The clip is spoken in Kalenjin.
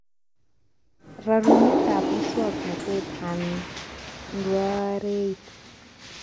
Rarunetab muswoknotetab handwareit